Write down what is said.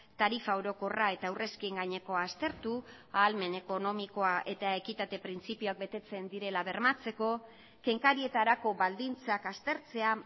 tarifa orokorra eta aurrezkien gainekoa aztertu ahalmen ekonomikoa eta ekitate printzipioak betetzen direla bermatzeko kenkarietarako baldintzak aztertzea